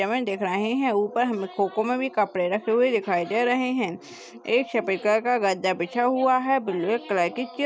दिख रहे हैं ऊपर हमें खोखो में भी कपड़े रखे हुए दिखाई दे रहे हैं एक सफेद कलर का गद्दा बिछा हुआ है ब्लैक कलर की चिप --